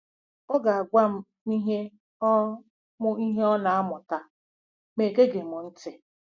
Ọ ga-agwa m ihe ọ m ihe ọ na-amụta, ma egeghị m ntị.